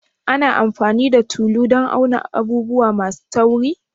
Ana amfani da tulu dan auna abubuwa masu tauri?